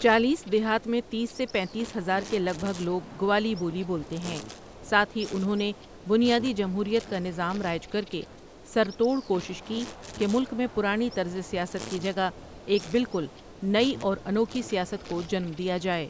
چالیس دیہات میں تیس سے پنتیس ہزار کے لگ بھگ لوگ گوالی بولی بولتے ہیں ساتھ ہی انہوں نے بنیادی جمہوریت کا نظام رائج کر کے سر توڑ کوشش کی کہ ملک میں پرانی طرز سیاست کی جگہ ایک بالکل نئی اور انوکھی سیاست کو جنم دیا جائے۔